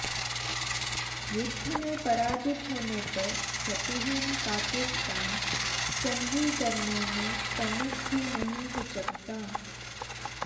युद्ध में पराजित होने पर शतिहीन पाकिस्तान सन्धि करने में तनिक भी नहीं हिचकता